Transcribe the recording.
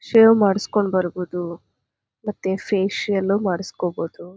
Shave ಮಾಡ್ಸ್ಕೊಂಡು ಬರಬೋದು ಮತ್ತೆ ಫೇಷಿಯಲ್ ಮಾಡ್ಸ್ಕೊಬೋದು.